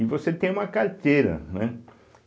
E você tem uma carteira, né?